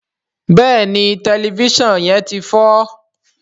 béèni Tẹlifísàn yén tí fọ.